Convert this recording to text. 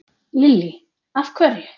Lillý: Af hverju?